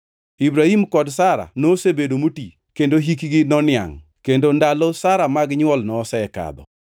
Ibrahim kod Sara nosebedo moti kendo hikgi noniangʼ kendo ndalo Sara mag nywol nosekadho.